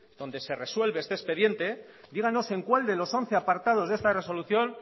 donde se resuelve este expediente díganos en cuál de los once apartados de esta resolución